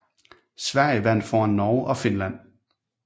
Sverige vandt foran Norge og Finland